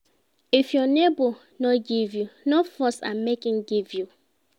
If your neighbor no give you, no force am make im give you